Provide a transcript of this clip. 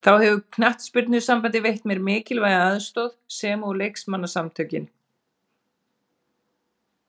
Þá hefur knattspyrnusambandið veitt mér mikilvæga aðstoð sem og leikmannasamtökin.